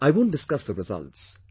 I won't discuss the results